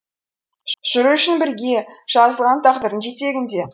жүру үшін бірге жазылған тағдырдың жетегінде